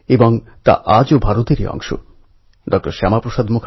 আমাদের এই ভারতভূমি বহু রত্নে খচিত বসুন্ধরা